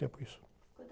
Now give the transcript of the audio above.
tempo isso.uantas